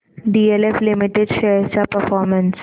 DLF limited shares चा performance